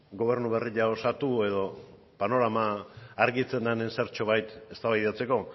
gobernu berria osatu edo panorama argitzen den zertxobait eztabaidatzeko